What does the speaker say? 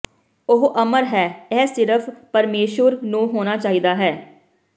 ਉਹ ਅਮਰ ਹੈ ਇਹ ਸਿਰਫ਼ ਪਰਮੇਸ਼ੁਰ ਨੂੰ ਹੋਣਾ ਚਾਹੀਦਾ ਹੈ